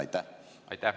Aitäh!